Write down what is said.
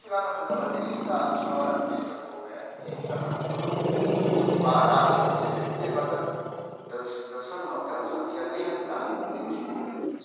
Fui lá na frente da bateria e está a senhora Luiza Tomé, linda, maravilhosa, parada, semi-bêbada, dan dançando não, porque ela não sabia nem andar no ritmo.